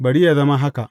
Bari yă zama haka.